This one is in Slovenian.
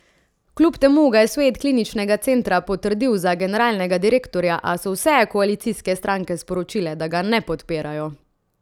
Kljub temu ga je svet kliničnega centra potrdil za generalnega direktorja, a so vse koalicijske stranke sporočile, da ga ne podpirajo.